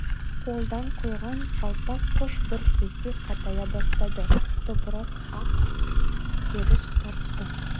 қолдан құйған жалпақ қыш бір кезде қатая бастады топырақ ақ керіш тартты